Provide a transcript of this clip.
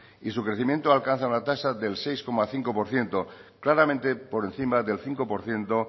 y su crecimiento alcanza una tasa del seis coma cinco por ciento claramente por encima del cinco por ciento